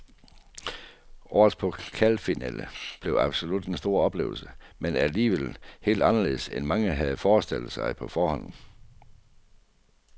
Årets pokalfinale blev absolut en stor oplevelse, men alligevel helt anderledes end mange havde forestillet sig på forhånd.